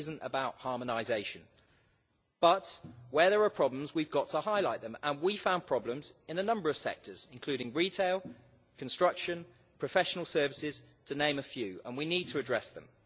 This isn't about harmonization, but where there are problems we've got to highlight them, and we found problems in a number of sectors, including retail, construction and professional services, to name a few, and we need to address them.